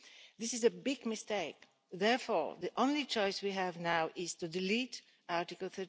This is a big mistake. Therefore, the only choice we have now is to delete Article